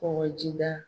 Kɔkɔjida